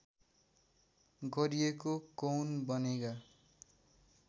गरिएको कौन बनेगा